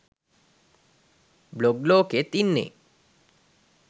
blog ලෝකෙත් ඉන්නෙ